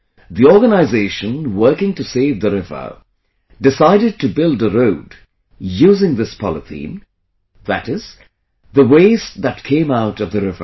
The organization working to save the river, decided to build a road using this polythene, that is, the waste that came out of the river